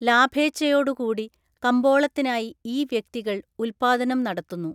ലാഭേഛയോടുകൂടി കമ്പോളത്തിനായി ഈ വ്യക്തികൾ ഉല്പാദനം നടത്തുന്നു.